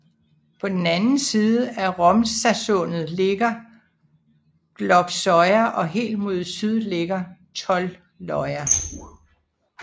På den anden side af Romsasundet ligger Glopsøya og helt mod syd ligger Tolløya